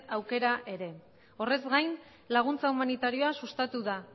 aukera ere horrez gain laguntza humanitarioa sustatu da